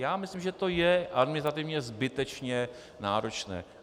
Já myslím, že to je administrativně zbytečně náročné.